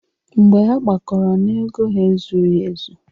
Mgbe ha gbakọrọ na ego ha ezughi oke.